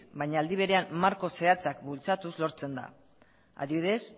baina aldi berean marko zehatzak bultzatuz lortzen da adibidez